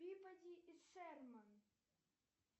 пибоди и шерман